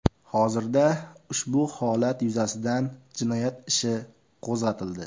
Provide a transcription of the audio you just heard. Hozirda ushbu holat yuzasidan jinoyat ishi qo‘zg‘atildi.